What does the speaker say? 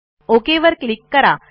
okay वर click करा